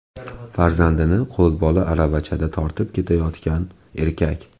Farzandini qo‘lbola aravachada tortib ketayotgan erkak.